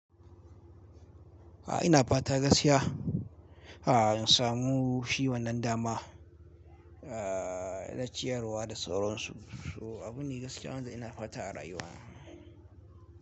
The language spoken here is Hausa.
A'a ina fata gaskiya. A'a in samu shi wannan dama, aa na ciyarwa da sauransu. So abune gaskiya wanfu ina fata a rayuwa.